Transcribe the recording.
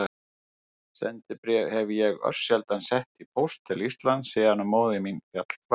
Sendibréf hef ég örsjaldan sett í póst til Íslands síðan móðir mín féll frá.